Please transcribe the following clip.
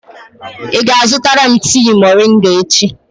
Ị ga-azụtara m tii moringa echi?